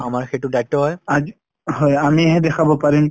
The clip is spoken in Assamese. আমাৰ সেইটো দায়িত্ব হয় । আজি হয় আমি হে দেখাব পাৰিম ।